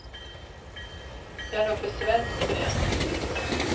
Jag är nog för svensk för det.